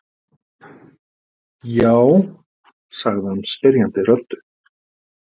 Já? sagði hann spyrjandi röddu.